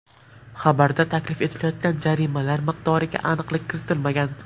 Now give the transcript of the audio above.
Xabarda taklif etilayotgan jarimalar miqdoriga aniqlik kiritilmagan.